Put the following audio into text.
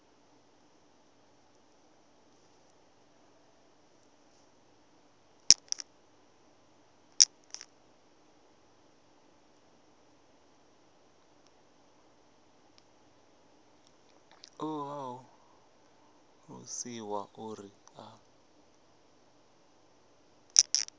ṱoḓa u ṱalusiwa uri a